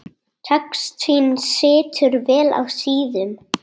Textinn situr vel á síðum.